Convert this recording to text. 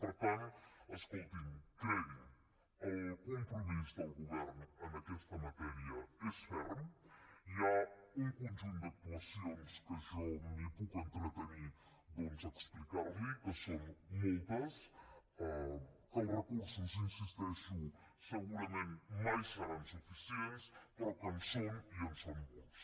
per tant escolti’m cregui’m el compromís del govern en aquesta matèria és ferm hi ha un conjunt d’actuacions que jo m’hi puc entretenir doncs a explicar li que són moltes que els recursos hi insisteixo segurament mai seran suficients però que hi són i en són molts